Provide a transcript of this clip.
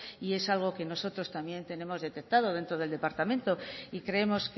y es algo que nosotros también tenemos detectado dentro del departamento y creemos